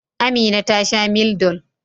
Amina ta sha Mildol.